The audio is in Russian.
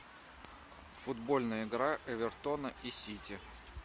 футбольная игра эвертона и сити